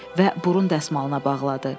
Və burun dəsmalına bağladı.